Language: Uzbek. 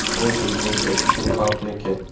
Bu bizniki, shu xalqniki.